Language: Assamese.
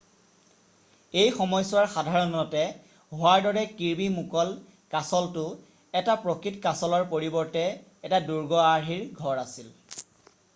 এই সময়ছোৱাৰ সাধাৰণতে হোৱাৰ দৰে কিৰ্বি মুকল' কাছলটো এটা প্ৰকৃত কাছলৰ পৰিৱৰ্তে এটা দুৰ্গ আৰ্হিৰ ঘৰ আছিল